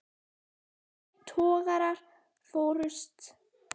Tveir togarar fórust.